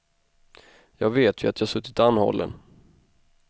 Jag vet ju att jag suttit anhållen.